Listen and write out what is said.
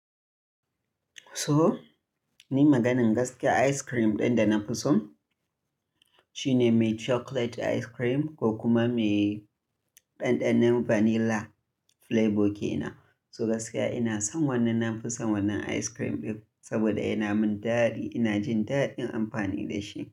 To ni maganar gaskiya ice cream ɗin da na fi so shine mai chocolate ice cream ko kuma mai ɗanɗanon vanilla flavour ke nan. So gaskiya ina son wannan, na fi son wannan ice cream ɗin saboda yana min daɗi. Ina jin daɗin amfani da shi.